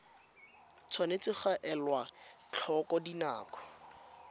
tshwanetse ga elwa tlhoko dinako